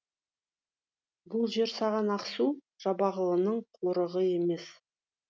бұл жер саған ақсу жабағылының қорығы емес